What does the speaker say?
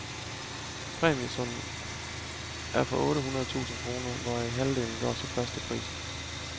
Præmiesummen er på otte hundrede tusind kroner, hvoraf halvdelen går til førsteprisen.